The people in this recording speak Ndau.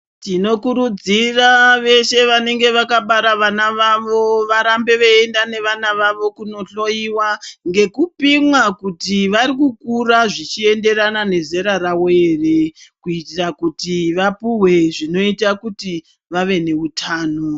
Tinokurudzira vesey vanenge vakabara vana vavo varambe vechienda nevana vavo kunohloyiwa ngekupimwa kuti varikukura zvichienderana nezera ravo here kuitira kuti vapuhwe zvinoita kuti vave neutano.